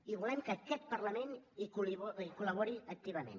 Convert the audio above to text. i volem que aquest parlament hi col·labori activament